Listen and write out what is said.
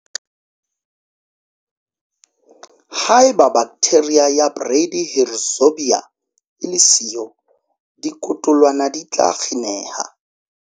Haeba baktheria ya bradyrhizobia e le siyo, dikotolwana di tla kgineha.